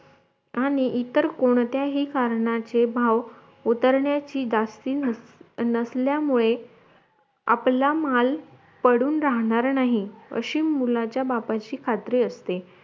आणि इतर कोणत्याही कारनाचे भाव उतरण्याची जास्ती नसल्यामुळे आपला माल पडून राहणार नाही अशे मुलाच्या बापाची खात्री असते